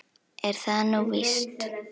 Er það nú víst ?